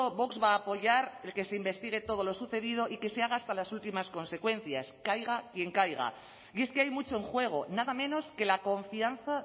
vox va a apoyar el que se investigue todo lo sucedido y que se haga hasta las últimas consecuencias caiga quien caiga y es que hay mucho en juego nada menos que la confianza